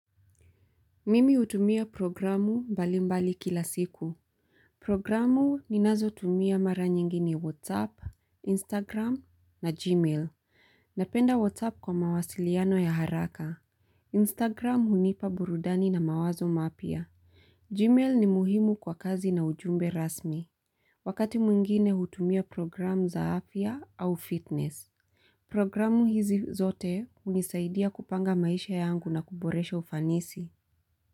Mimi hutumia programu mbali mbali kila siku. Programu ninazotumia mara nyingi ni WhatsApp, Instagram na Gmail. Napenda WhatsApp kwa mawasiliano ya haraka. Instagram hunipa burudani na mawazo mapya. Gmail ni muhimu kwa kazi na ujumbe rasmi. Wakati mwingine hutumia programu za afya au fitness. Programu hizi zote unisaidia kupanga maisha yangu na kuboresha ufanisi.